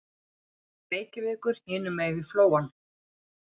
Reykjavíkur hinum megin við Flóann.